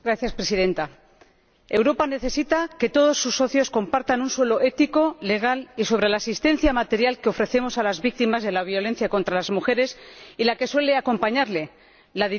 Europa necesita que todos sus socios compartan un suelo ético, legal y sobre la asistencia material que ofrecemos a las víctimas de la violencia contra las mujeres y la que suele acompañarla, la dirigida contra menores.